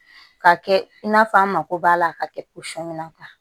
Ka kɛ i n'a fɔ an mako b'a la a ka kɛ